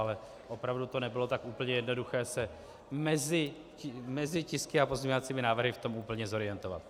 Ale opravdu to nebylo tak úplně jednoduché se mezi tisky a pozměňovacími návrhy v tom úplně zorientovat.